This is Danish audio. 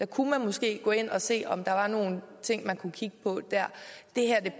kunne måske gå ind og se om der var nogle ting man kunne kigge på der det her